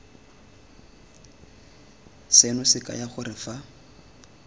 seno se kaya gore fa